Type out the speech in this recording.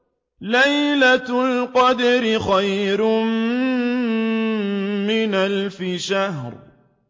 لَيْلَةُ الْقَدْرِ خَيْرٌ مِّنْ أَلْفِ شَهْرٍ